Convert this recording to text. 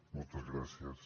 moltes gràcies